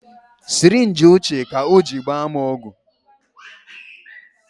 Sirinji ochie ka o ji gbaa m ọgwụ